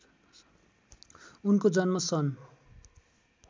उनको जन्म सन्